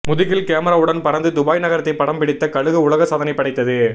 முதுகில் கேமராவுடன் பறந்து துபாய் நகரத்தை படம் பிடித்த கழுகு உலக சாதனை படைத்தது